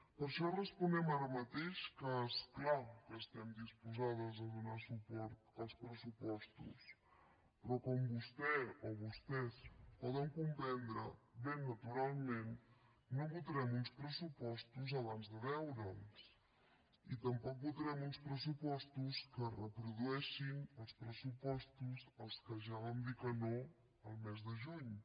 per això responem ara mateix que és clar que estem disposades a donar suport als pressupostos però com vostè o vostès poden comprendre ben naturalment no votarem uns pressupostos abans de veure’ls i tampoc votarem uns pressupostos que reprodueixin els pressupostos als quals ja vam dir que no el mes de juny